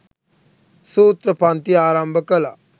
සූත්‍ර පන්ති ආරම්භ කළා.